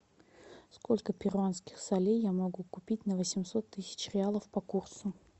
сколько перуанских солей я могу купить на восемьсот тысяч реалов по курсу